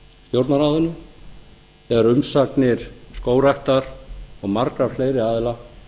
stjórnarráðinu þegar umsagnir skógræktar og margra fleiri aðila